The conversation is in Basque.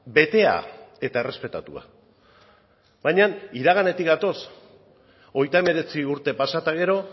betea eta errespetatua baina iraganetik gatoz hogeita hemeretzi urte pasa eta gero